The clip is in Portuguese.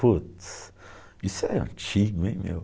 Putz, isso é antigo, hein, meu?